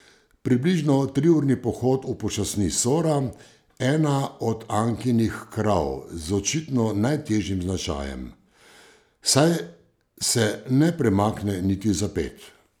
Približno triurni pohod upočasni Sora, ena od Ankinih krav z očitno najtežjim značajem, saj se ne premakne niti za ped.